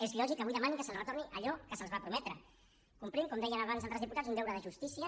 és lògic que avui demanin que se’ls retorni allò que se’ls va prometre complint com deien abans altres diputats un deure de justícia